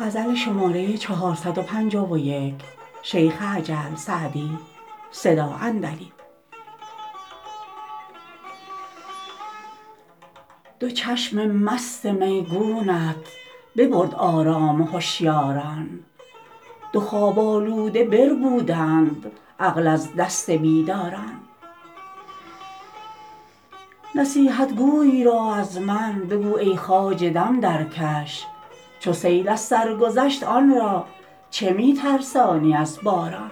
دو چشم مست میگونت ببرد آرام هشیاران دو خواب آلوده بربودند عقل از دست بیداران نصیحتگوی را از من بگو ای خواجه دم درکش چو سیل از سر گذشت آن را چه می ترسانی از باران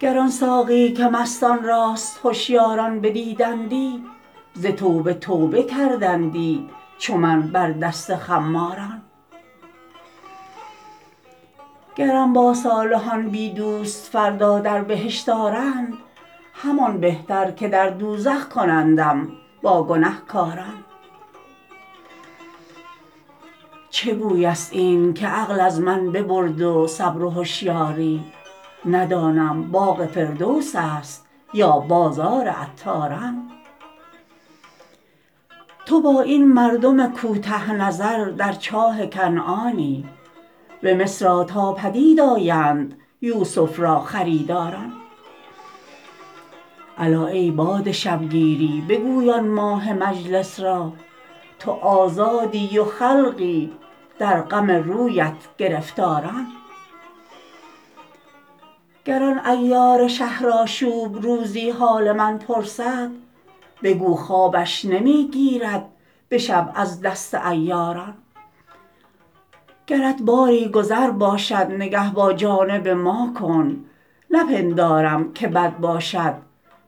گر آن ساقی که مستان راست هشیاران بدیدندی ز توبه توبه کردندی چو من بر دست خماران گرم با صالحان بی دوست فردا در بهشت آرند همان بهتر که در دوزخ کنندم با گنهکاران چه بوی است این که عقل از من ببرد و صبر و هشیاری ندانم باغ فردوس است یا بازار عطاران تو با این مردم کوته نظر در چاه کنعانی به مصر آ تا پدید آیند یوسف را خریداران الا ای باد شبگیری بگوی آن ماه مجلس را تو آزادی و خلقی در غم رویت گرفتاران گر آن عیار شهرآشوب روزی حال من پرسد بگو خوابش نمی گیرد به شب از دست عیاران گرت باری گذر باشد نگه با جانب ما کن نپندارم که بد باشد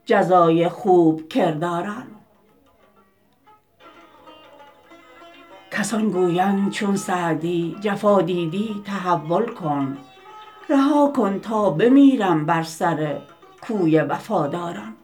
جزای خوب کرداران کسان گویند چون سعدی جفا دیدی تحول کن رها کن تا بمیرم بر سر کوی وفاداران